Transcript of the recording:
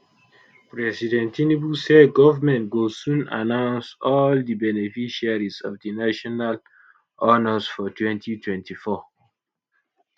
president tinubu say government go soon announce all di beneficiaries of di national honours for 2024